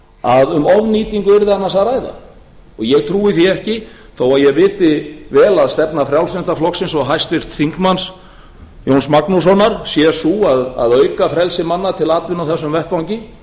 að um ofnýtingu yrði annars að ræða og ég trúi því ekki þó ég viti vel að stefna frjálslynda flokksins og háttvirtur þingmaður jóns magnússonar sé sú að auka frelsi manna til atvinnu á þessum vettvangi